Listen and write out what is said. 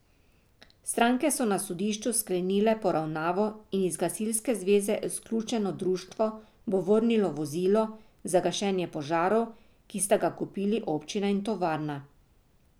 Stranke so na sodišču sklenile poravnavo in iz gasilske zveze izključeno društvo bo vrnilo vozilo za gašenje požarov, ki sta ga kupili občina in tovarna.